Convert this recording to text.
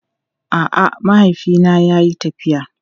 A'a, mahaifina yayi tafiya.